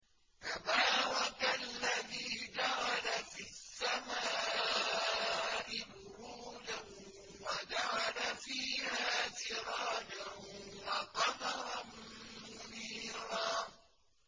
تَبَارَكَ الَّذِي جَعَلَ فِي السَّمَاءِ بُرُوجًا وَجَعَلَ فِيهَا سِرَاجًا وَقَمَرًا مُّنِيرًا